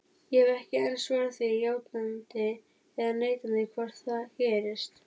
Ég hef ekki enn svarað því játandi eða neitandi hvort það gerist.